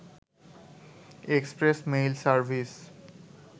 express mail service